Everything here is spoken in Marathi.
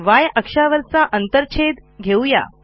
yअक्षावरचा अंतरछेद घेऊ या